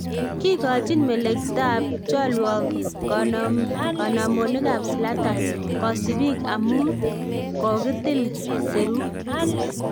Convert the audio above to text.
Koigochi melektap cholwok konomonikab Zlatan kosibiik, amun kogitil serut